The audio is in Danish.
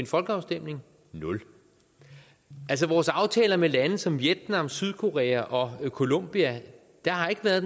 folkeafstemning nul altså vores aftaler med lande som vietnam sydkorea og colombia har ikke været